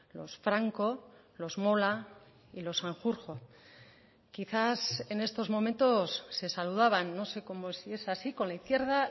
los franco los mola y los sanjurjo quizás en estos momentos se saludaban no sé como si es así con la izquierda